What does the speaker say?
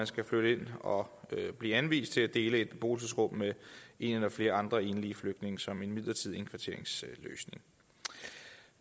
skal flytte ind og blive anvist at dele et beboelsesrum med en eller flere andre enlige flygtninge som en midlertidig indkvarteringsløsning